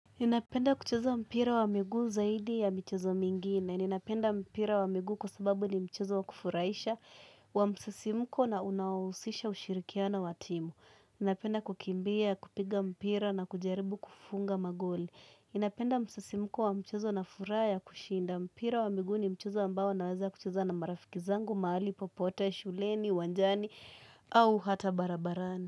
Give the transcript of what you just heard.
Ninapenda kucheza mpira wa miguu zaidi ya michezo mingine. Ninapenda mpira wa miguu kwa sababu ni mchezo wa kufurahisha wa msisimko na unaohusisha ushirikiana wa timu. Ninapenda kukimbia, kupiga mpira na kujaribu kufunga magoli. Ninapenda msisimko wa mchezo na furaha ya kushinda. Mpira wa miguu ni mchezo ambao naweza kucheza na marafiki zangu, mahali popote, shuleni, uwanjani au hata barabarani.